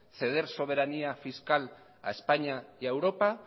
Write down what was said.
ceder soberanía fiscal a españa y a europa